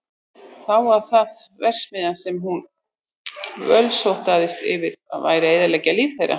Þá var það verksmiðjan sem hún bölsótaðist yfir að væri að eyðileggja líf þeirra.